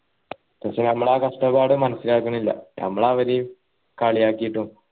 പക്ഷെ ഞമ്മള് ആ കഷ്ടപ്പാട് മനസിലാക്കണില്ല ഞമ്മള് അവരെ കളിയാക്കീട്ടും